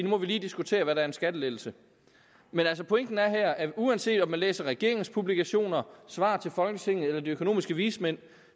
må vi lige diskutere hvad der er en skattelettelse men pointen er her at uanset om man læser regeringens publikationer og svar til folketinget de økonomiske vismænd